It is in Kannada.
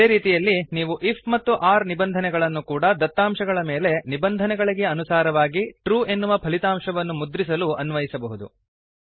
ಇದೇ ರೀತಿಯಲ್ಲಿ ನೀವು ಐಎಫ್ ಮತ್ತು ಒರ್ ನಿಬಂಧನೆಗಳನ್ನು ಕೂಡ ದತ್ತಾಂಶಗಳ ಮೇಲೆ ನಿಬಂಧನೆಗಳಿಗೆ ಅನುಸಾರವಾಗಿ ಟ್ರೂ ಎನ್ನುವ ಫಲಿತಾಂಶವನ್ನು ಮುದ್ರಿಸಲು ಅನ್ವಯಿಸಬಹುದು